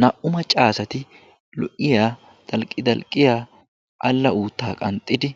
Naa"u macca asati lo"iyaa dalqqidalqqiyaa alla uuttaa qanxxidi